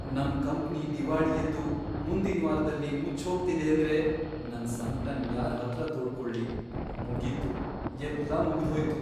ನಮ್ ಕಂಪ್ನಿ ದಿವಾಳಿಯೆದ್ದು ಮುಂದಿನ್ವಾರ್ದಲ್ಲಿ ಮುಚ್ಚೋಗ್ತಿದೇಂದ್ರೆ ನನ್ ಸಂಕ್ಟನ್ ಯಾರ್ಹತ್ರ ತೋಡ್ಕೊಳ್ಳಿ, ಮುಗೀತು, ಎಲ್ಲ ಮುಗ್ದ್ಹೋಯ್ತು.